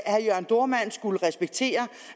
herre jørn dohrmann skulle respektere